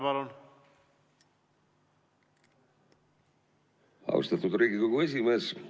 Austatud Riigikogu esimees!